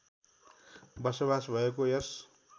बसोबास भएको यस